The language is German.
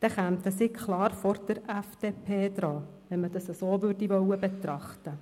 Hier gibt es ja Grossrat Kullmann, der es einmal ganz genau ausgerechnet hat.